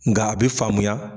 Nga a be faamuya